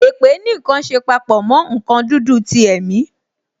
Èpè ní nkan ṣe papọ mo nkan dúdú ti ẹ̀mi